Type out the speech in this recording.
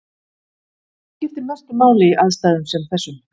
Hvað skiptir mestu máli í aðstæðum sem þessum?